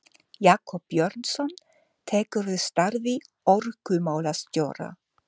Jakob Björnsson tekur við starfi orkumálastjóra.